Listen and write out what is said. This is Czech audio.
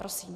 Prosím.